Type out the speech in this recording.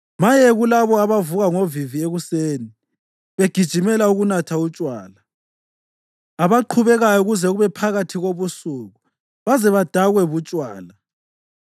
Maye kulabo abavuka ngovivi ekuseni begijimela ukunatha utshwala; abaqhubekayo kuze kube phakathi kobusuku baze badakwe butshwala.